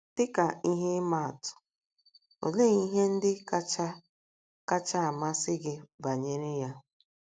Dị ka ihe atụ, olee ihe ndị kacha kacha amasị gị banyere ya?